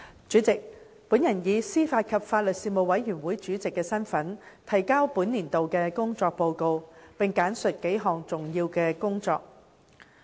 主席，我以司法及法律事務委員會主席身份，提交本年度的工作報告，並簡述數項重點工作。